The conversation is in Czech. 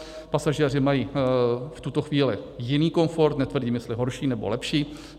Pasažéři mají v tuto chvíli jiný komfort, netvrdím, jestli horší, nebo lepší.